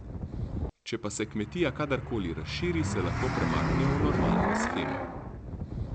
Če pa se kmetija kadarkoli razširi, se lahko premaknejo v normalno shemo.